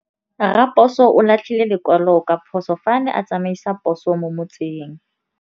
Raposo o latlhie lekwalô ka phosô fa a ne a tsamaisa poso mo motseng.